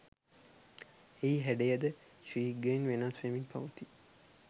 එහි හැඩයද ශීඝ්‍රයෙන් වෙනස් වෙමින් පවතී